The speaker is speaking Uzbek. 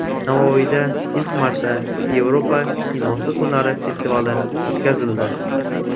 Navoiyda ilk marta Yevropa kinosi kunlari festivali o‘tkazildi.